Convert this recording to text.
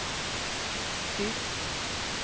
tyst